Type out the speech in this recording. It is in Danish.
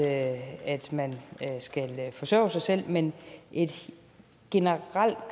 at man skal forsørge sig selv men et generelt